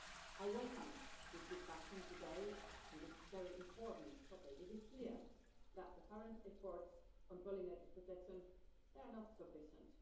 I welcome this discussion today on this very important topic. It is clear that the current efforts on pollinators' protection are not sufficient.